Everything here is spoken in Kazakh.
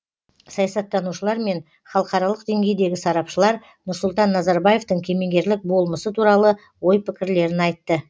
саясаттанушылар мен халықаралық деңгейдегі сарапшылар нұрсұлтан назарбаевтың кемеңгерлік болмысы туралы ой пікірлерін айтты